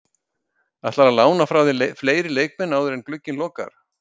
Ætlarðu að lána frá þér fleiri leikmenn áður en glugginn lokar?